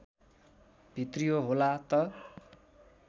भित्रियो होला त